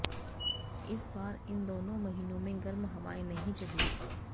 इस बार इन दोनों महीनों में गर्म हवाएं नहीं चलीं